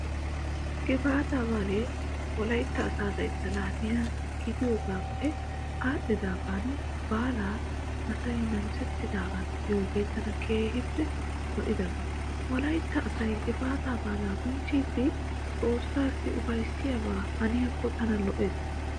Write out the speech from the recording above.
Gifaataa baalay wolaytta asaa layttaa laamiyaa gidiyoogaappe aadhdhaagan baalaa asay namisettidaagaa miziyoogee tana keehi lo'idaba. Wolaytta asay gifaataa baalaa bonchchidi xoossaa ufayssiyaaba hanikko tana lo'ees.